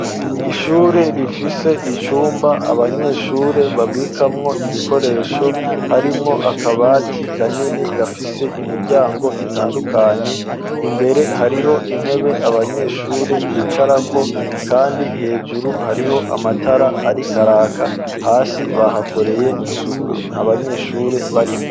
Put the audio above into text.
ishure rifise icumba abanyeshure babikamwo ibikoresho harimwo akabati kanini gafise imiryango itandukanye imbere hariho intebe abanyeshure bicarako kandi hejuru hariho amatara arikaraka hasi bahakoreye isuku nta banyeshure barimwo.